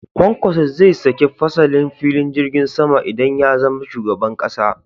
Kwankwaso zai sake fasalin filin jirgin sama idan ya zama shugaban ƙasa